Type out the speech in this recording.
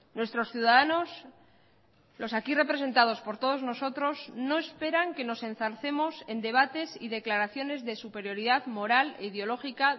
nuestros ciudadanos los aquí representados por todos nosotros no esperan que nos enzarcemos en debates y declaraciones de superioridad moral ideológica